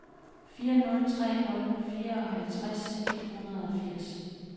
fire nul tre nul fireoghalvtreds et hundrede og firs